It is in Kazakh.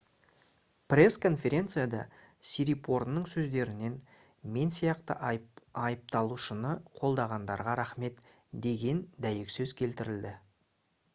пресс-конференцияда сирипорнның сөздерінен «мен сияқты айыпталушыны қолдағандарға рахмет» деген дәйексөз келтірілді